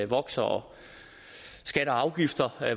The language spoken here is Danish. vokser og skatter og afgifter